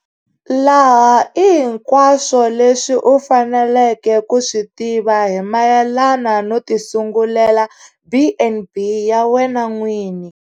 Laha i hinkwaswo leswi u faneleke ku swi tiva hi mayelana no tisungulela B and B ya wena n'wini.